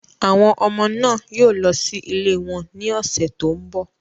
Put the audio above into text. Àwọn ọmọ náà yóò lọ sí ilé wọn ní ọ̀sẹ̀ tó ń bọ̀.